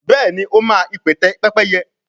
béèni o ma ipẹtẹ Pẹ́pẹ́yẹ.